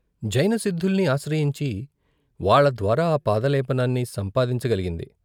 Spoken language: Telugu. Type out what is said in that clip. జైన సిద్ధుల్ని ఆశ్రయించి వాళ్ళద్వారా ఆ పాదలేపనాన్ని సంపాదించ గలి గింది.